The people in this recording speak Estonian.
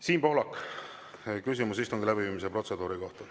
Siim Pohlak, küsimus istungi läbiviimise protseduuri kohta.